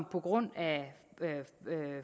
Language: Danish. på grund af